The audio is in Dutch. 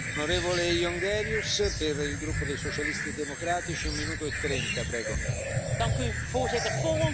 Voorzitter, voor ons ligt een veelomvattend pakket waar absoluut goede dingen in zitten, maar ook slechte punten.